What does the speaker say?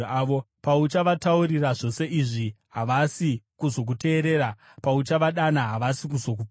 “Pauchavataurira zvose izvi, havasi kuzokuteerera; pauchavadana, havasi kuzokupindura.